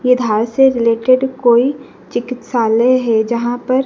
ये से रिलेटेड कोई चिकित्सालय है। जहां पर--